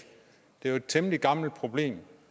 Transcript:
det er jo et temmelig gammelt problem